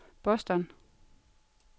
Boston